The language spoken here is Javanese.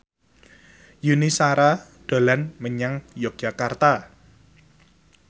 Yuni Shara dolan menyang Yogyakarta